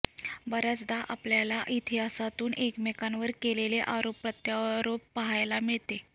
बऱ्याचदा आपल्याला इतिहासातून एकमेकांवर केलेले आरोप प्रत्यारोप पाहायला मिळते